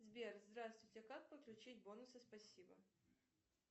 сбер здравствуйте а как подключить бонусы спасибо